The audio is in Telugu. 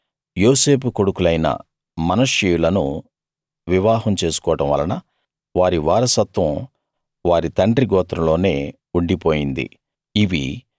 అంటే యోసేపు కొడుకులైన మనష్షీయులను వివాహం చేసుకోవడం వలన వారి వారసత్వం వారి తండ్రి గోత్రంలోనే ఉండిపోయింది